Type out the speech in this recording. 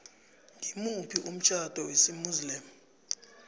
ngimuphi umtjhado wesimuslimu